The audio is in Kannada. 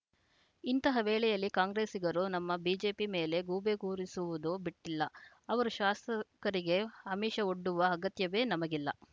ಇಂತಹ ವೇಳೆಯಲ್ಲೂ ಕಾಂಗ್ರೆಸ್ಸಿಗರು ನಮ್ಮ ಬಿಜೆಪಿ ಮೇಲೆ ಗೂಬೆ ಕೂರಿಸುವುದು ಬಿಟ್ಟಿಲ್ಲ ಅವರ ಶಾಸಕರಿಗೆ ಆಮಿಷ ಒಡ್ಡುವ ಅಗತ್ಯವೇ ನಮಗಿಲ್ಲ